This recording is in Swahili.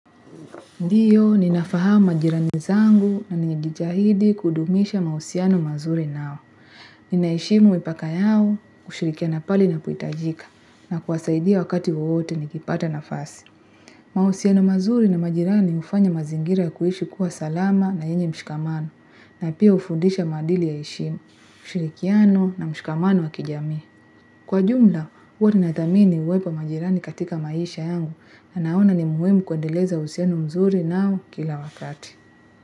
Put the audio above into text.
Ndiyo, ninafahamu majirani zangu na nijijahidi kudumisha mausiano mazuri nao. Ninaheshimu mipaka yao kushirikiana pale inapoitajika na kuwasaidia wakati wowote nikipata nafasi. Mausiano mazuri na majirani ufanya mazingira kuishi kuwa salama na yenye mshikamano na pia ufundisha maadili ya heshimu, ushirikiano na mshikamano wa kijamii. Kwa jumla, uwa ninadhamini uwepo wa majirani katika maisha yangu na naona ni muhimu kuendeleza uhusiano mzuri nao kila wakati.